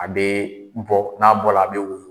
A bɛ bɔ, n'a bɔla a bɛ woyo.